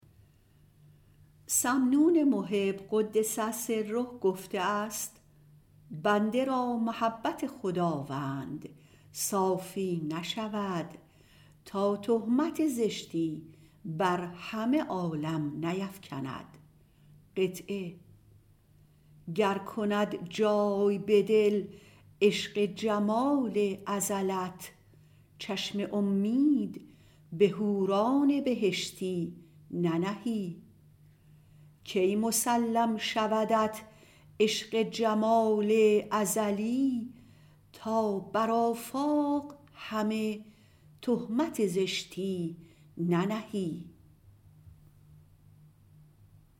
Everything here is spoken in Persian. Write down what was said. سمنون المحب - قدس سره - گفته است بنده را محبت خداوند صافی شود تا زشتی بر همه عالم نیفکند گر کند جای به دل عشق جمال ازلت چشم امید به حوران بهشتی ننهی کی مسلم شودت عشق جمال ازلی تا بر آفاق همه تهمت زشتی ننهی